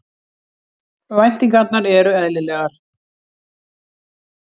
Væntingarnar eru eðlilegar